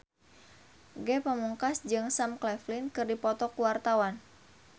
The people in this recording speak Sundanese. Ge Pamungkas jeung Sam Claflin keur dipoto ku wartawan